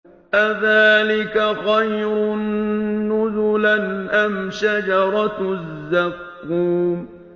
أَذَٰلِكَ خَيْرٌ نُّزُلًا أَمْ شَجَرَةُ الزَّقُّومِ